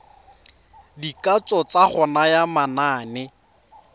dikatso tsa go naya manane